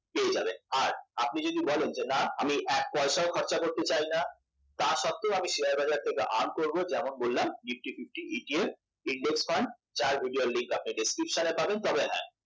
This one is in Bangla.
পেয়ে যাবেন আর আপনি যদি বলেন যে না আমি এক পয়সাও খরচা করতে চাই না তার সত্বেও আমি শেয়ার বাজার থেকে earn করব আমি যেমন বললাম nifty fiftyETFindex fund যার video র link আপনি description পাবেন